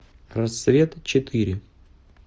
рассвет четыре